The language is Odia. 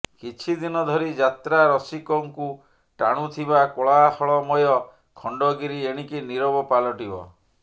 କିଛିଦିନ ଧରି ଯାତ୍ରା ରସିକଙ୍କୁ ଟାଣୁଥିବା କୋଳାହଳମୟ ଖଣ୍ଡଗିରି ଏଣିକି ନିରବ ପାଲଟିବ